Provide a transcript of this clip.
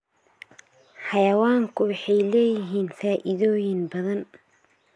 Xayawaanku waxay leeyihiin faa'iidooyin badan.